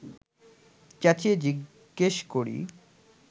চেঁচিয়ে জিজ্ঞেস করি